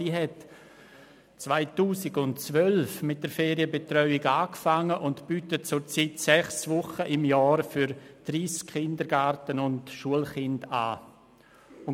Diese hat 2012 mit der Ferienbetreuung begonnen und bietet zurzeit sechs Wochen im Jahr für 30 Kindergarten- und Schulkinder an.